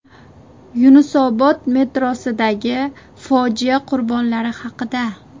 Yunusobod metrosidagi fojia qurbonlari haqida.